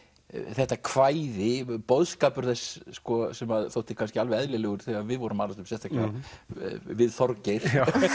þetta kvæði boðskapur þess sem að þótti kannski alveg eðlilegur þegar við vorum að alast upp sérstaklega við Þorgeir